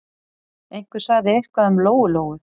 Einhver sagði eitthvað um Lóu-Lóu.